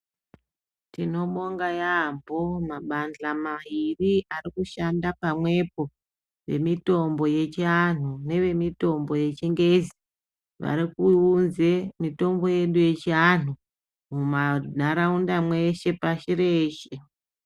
Tinobonga yaambo mabandla mairi arikushanda pamwepo, vemitombo yechianhu nevemitombo yechingezi, varikuunze mitombo yedu yechianhu mumanharaunda mweshe pashi reshe.